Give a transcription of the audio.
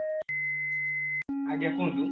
ଆଜ୍ଞା କୁହନ୍ତୁ